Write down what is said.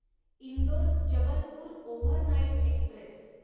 Indore Jabalpur overnight Express